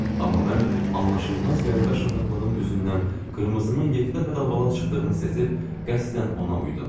Amma mən anlaşılmaz qəribə şıltaqlığım üzündən qırmızının yeddi dəfə dalbadal çıxdığını seçib qəsdən ona uydum.